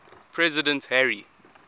president harry